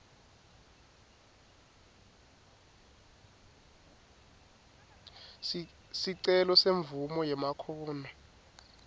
sicelo semvumo yemakhono